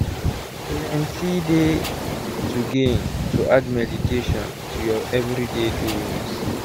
plenty dey to gain to add meditation to ur everyday doings.